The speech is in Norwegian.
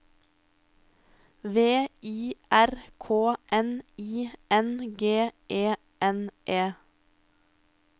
V I R K N I N G E N E